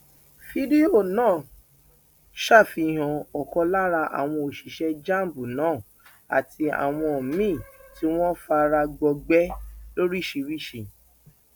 fídíò náà ṣàfihàn ọkan lára àwọn òṣìṣẹ jamb náà àti àwọn míín tí wọn fara gbọgbẹ lóríṣìíríṣìí